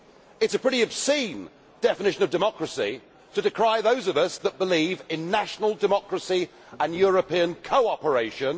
It is a pretty obscene definition of democracy to decry those of us that believe in national democracy and European cooperation.